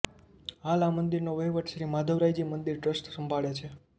હાલ આ મંદીરનો વહીવટ શ્રી માધવરાયજી મંદીર ટ્રસ્ટ સંભાળે છે